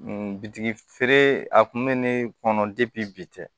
Bitigi feere a kun bɛ ne kɔnɔ bi tɛ